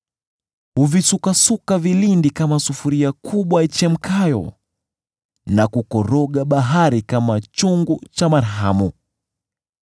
Huvisukasuka vilindi kama sufuria kubwa ichemkayo, na kukoroga bahari kama chungu cha marhamu.